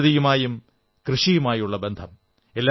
പ്രകൃതിയുമായും കൃഷിയുമായുമുള്ള ബന്ധം